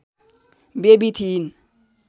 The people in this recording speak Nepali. बेबी थिइन्